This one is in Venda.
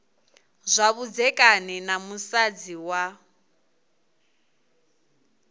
zwa vhudzekani na musadzi wa